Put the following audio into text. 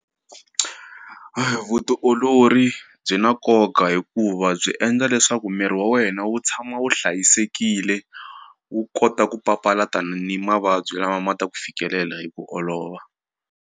Vutiolori byi na nkoka hikuva byi endla leswaku miri wa wena wu tshama wu hlayisekile wu kota ku papalata ni mavabyi lama ma ta ku fikelela hi ku olova.